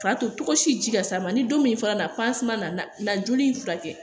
K'a to tɔgɔ si ji ka s'a ma ni don min fana na nana joli furakɛ